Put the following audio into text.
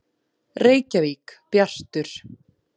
Reykjavík: Bjartur.